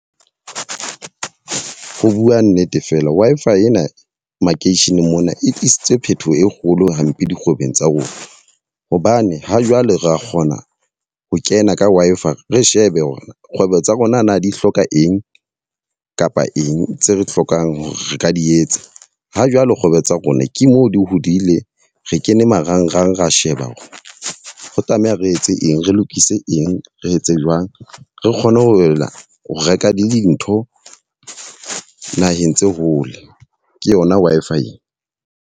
Ho bua nnete fela, Wi-Fi ena makeisheneng mona e tlisitswe phetoho e kgolo hampe dikgwebong tsa rona. Hobane ha jwale ra kgona ho kena ka Wi-Fi re shebe hore na kgwebo tsa rona na di hloka eng kapa eng tse re hlokang hore re ka di etsa. Ha jwale kgwebo tsa rona ke mo di hodile. Re kene marangrang ra sheba hore ho tlameha re etse eng, re lokise eng, re etse jwang. Re kgone ho boela ho reka dintho naheng tse hole, ke yona Wi-Fi ena.